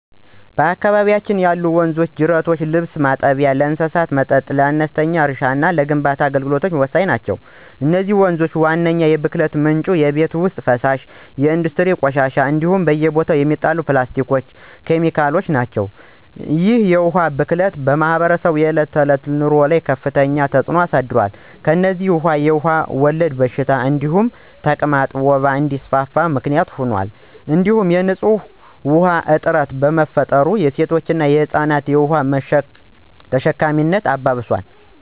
በአካባቢያችን ያሉ ወንዞችና ጅረቶች ለልብስ ማጠቢያ፣ ለእንስሳት መጠጥ፣ ለአነስተኛ እርሻና ለግንባታ አገልግሎት ወሳኝ ናቸው። የነዚህ ወንዞች ዋነኛው የብክለት ምንጭ የቤት ውስጥ ፍሳሽ፣ የኢንዱስትሪ ቆሻሻዎች እንዲሁም በየቦታው የሚጣሉ ፕላስቲኮችና ኬሚካሎች ናቸው። ይህ የውሃ ብክለት በማኅበረሰቡ የዕለት ተዕለት ኑሮ ላይ ከፍተኛ ተጽዕኖ አሳድሯል። ከእነዚህም ውስጥ የውሃ ወለድ በሽታዎች እንደ ተቅማጥና ወባ እንዲስፋፋ ምክንያት ሆኗል እንዲሁም የንፁህ ውሃ እጥረት በመፍጠር የሴቶችንና የህፃናትን የውሃ ተሸካሚነት አባብሷል።